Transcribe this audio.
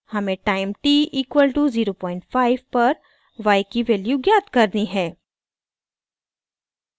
हमें time t equal to 05 पर y की वैल्यू ज्ञात करनी है